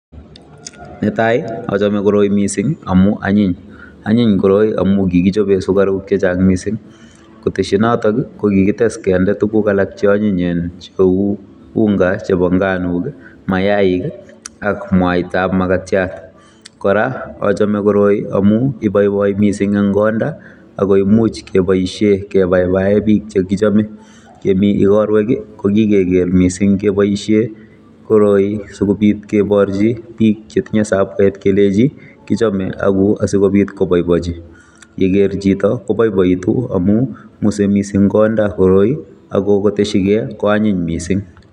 Ne tai, achame koroi missing amu anyiny. Anyiny koroi amuu kikichobe sukaruk chechang' missing. Koteshi notok, kokikites kende tuguk alak che anyinyen cheu unga chebo nganok, mayaik, ak mwaitab makatyat. Kora achame koroi amuu iboiboi missing eng' konda, akoimuch keboisie kebaebae biik chekichome. Yemi ikorwek, ko kikeger missing keboisie koroi, sikobit keborchi biik chetinye sabwet keleji kichome ago asikobit koboibochi. Yeger chito koboiboitu amu, ng'use missing konda koroi, akokoteshikei, ko anyiny missing